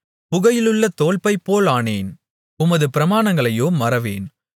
புகையிலுள்ள தோல்பை போலானேன் உமது பிரமாணங்களையோ மறவேன்